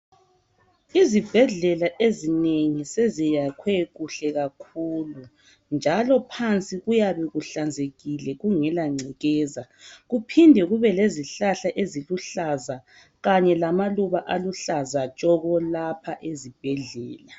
Izibhedlela ezinengi seziyakhwe kuhle kakhulu njalo phansi kuyabe kuhlanzekile kungela ngcekeza, kuphinde kube lezihlahla eziluhlaza kanye lamaluba aluhlaza tshoko lapha ezibhedlela.